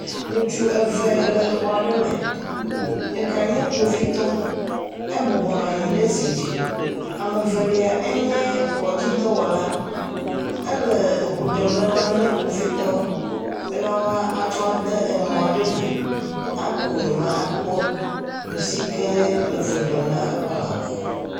Ŋutsu eve aɖe le xɔ aɖe me, ɖeka nye kpovitɔ, ebɔbɔ nɔ anyi ɖe zidzi. Ame evelia enye kɔdzi dɔwɔla ele eŋu ɖem le lãme na kpovitɔa be woa tsɔ aɖe mɔ aɖe me, akɔ nu me akpɔ nusi ke le eƒe lã me.